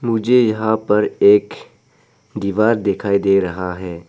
मुझे यहां पर एक दीवार दिखाई दे रहा है।